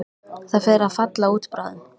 Það fer að falla út bráðum.